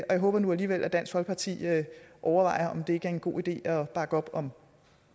jeg håber nu alligevel at dansk folkeparti vil overveje om det ikke er en god idé at bakke op om